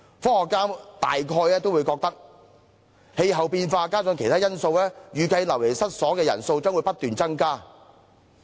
科學家認為氣候變化加上其他因素，預計流離失所的人數將不斷增加。